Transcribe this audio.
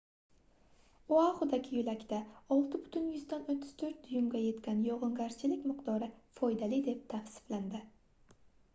oaxudagi yoʻlakda 6,34 duymga yetgan yogʻingarchilik miqdori foydali deb tavsiflandi